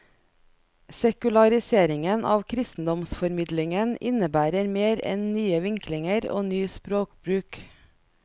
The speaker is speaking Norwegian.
Sekulariseringen av kristendomsformidlingen innebærer mer enn nye vinklinger og ny språkbruk.